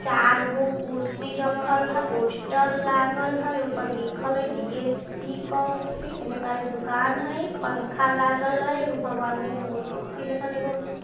चारगो कुर्सी रखल हई पोस्टर लागल हई ऊपर लिखल हई डी.एस.पी. कॉफी इनने कारी दुकान हई पंखा लागल हई एगो भगवान् जी की मूर्ति --